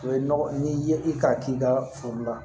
O ye nɔgɔ n'i ye i k'a k'i ka foro la